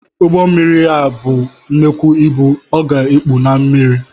Ugbommiri ya bụọ nnekwụ ịbụ, ọ ga-ekpu n’ime mmiri